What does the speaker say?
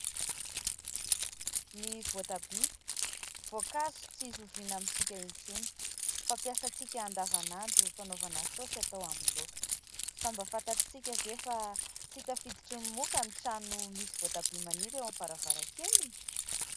Ny voatabia : voankazo tsy zoviana amintsika intsony fampiasantsika andavanandro fanaovana saosy atao amin'ny laoka fa mba fantatritsika ve fa tsy tafiditry ny moka ny trano misy voatabia maniry eo amin'ny varavarankeliny ?